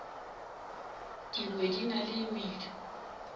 dingwe di na le medu